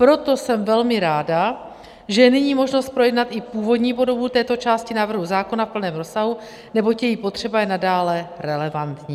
Proto jsem velmi ráda, že je nyní možnost projednat i původní podobu této části návrhu zákona v plném rozsahu, neboť její potřeba je nadále relevantní.